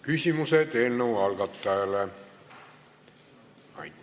Küsimused eelnõu algatajale.